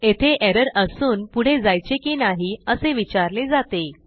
येथे एरर असून पुढे जायचे की नाही असे विचारले जाते